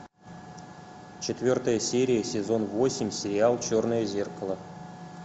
четвертая серия сезон восемь сериал черное зеркало